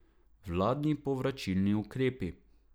Vladni povračilni ukrepi.